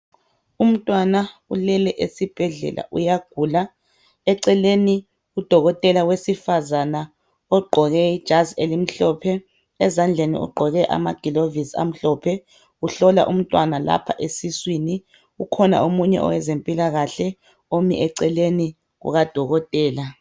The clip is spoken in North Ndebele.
Umntwana ulele esibhedlela uyagula. Eceleni udokotela wesifazana ogqoke ijazi elimhlophe, ezandleni ugqoke amagilovusi amhlophe, uhlola umntwana lapha esiswini. Kukhona omunye owezempilakahle omi eceleni kukadokotela.